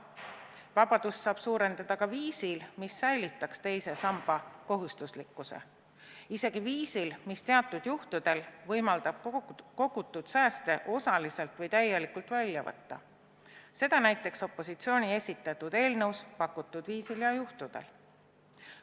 Vabadust saab suurendada ka viisil, mis säilitaks teise samba kohustuslikkuse, isegi viisil, mis teatud juhtudel võimaldaks kogutud sääste osaliselt või täielikult välja võtta, seda näiteks opositsiooni esitatud eelnõus pakutud viisil ja juhtudel.